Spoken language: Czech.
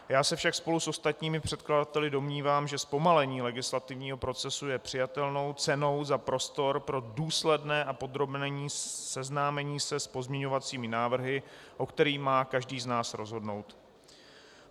Já se však spolu s ostatními předkladateli domnívám, že zpomalení legislativního procesu je přijatelnou cenou za prostor pro důsledné a podrobné seznámení se s pozměňovacími návrhy, o kterých má každý z nás rozhodnout.